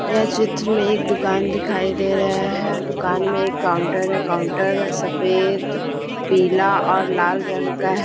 यह चित्र में एक दुकान दिखाई दे रहा है दुकान में एक काउंटर है काउंटर सफेद पीला और लाल रंग का ह--